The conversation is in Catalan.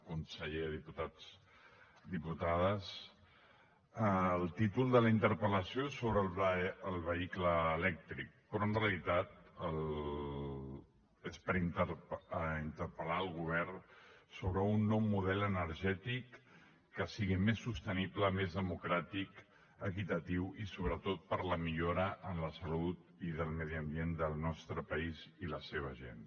conseller diputats diputades el títol de la interpel·lació és sobre el vehicle elèctric però en realitat és per interpel·lar el govern sobre un nou model energètic que sigui més sostenible més democràtic equitatiu i sobretot per a la millora en la salut i del medi ambient del nostre país i la seva gent